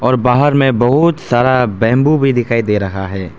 और बाहर में बहुत सारा बंबू भी दिखाई दे रहा है।